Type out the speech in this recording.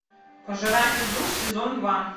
пожиратель душ сезон два